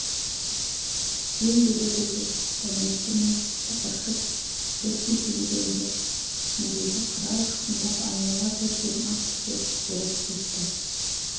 жем береді деп дәметті ме тықыршып дүр сілкінгенде үстіндегі қырау ұшқындап айнала бір дем ақ түтек болып кетті